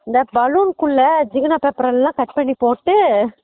இந்த ballon குள்ள ஜிகினா paper எல்லாம் cut பண்ணி போட்டு